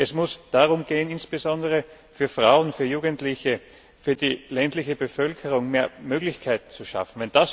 Es muss darum gehen, insbesondere für Frauen, für Jugendliche, für die ländliche Bevölkerung mehr Möglichkeiten zu schaffen.